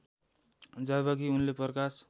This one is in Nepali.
जबकि उनले प्रकाश